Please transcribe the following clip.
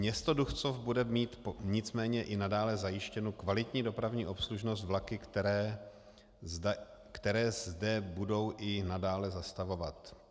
Město Duchcov bude mít nicméně i nadále zajištěnu kvalitní dopravní obslužnost vlaky, které zde budou i nadále zastavovat.